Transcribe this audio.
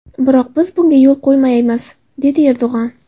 Biroq biz bunga yo‘l qo‘ymaymiz”, dedi Erdo‘g‘on.